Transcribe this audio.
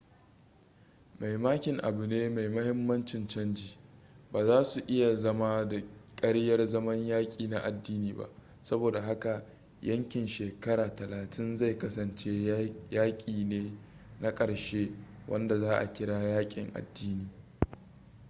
mai makin abu ne mai mahimmancin canji ba za su iya zama da karyar zaman yaki na adini ba sabo da haka yakin shekara talatin zai kasance yaki ne na karshe wanda za a kira yakin adini